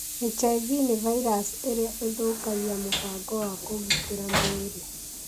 HIV nĩ virus irĩa ithũkagia mũbango wa kũgitĩra mwĩrĩ